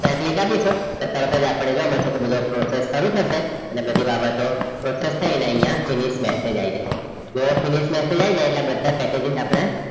right click અપિસું તરતજ અપડે બધી પ્રોસેસ ચાલુ થસે અને પછી રાબતો પ્રોસેસ થઈ ને આઇયાહ finish message આય જસે જેવુ finish message આય જાય એટલે આપદા બધા પક્ક્જીસ આપડે